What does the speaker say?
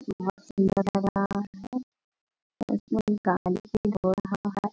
बहुत सुन्दर लग रहा है और गाड़ी धो रहा है।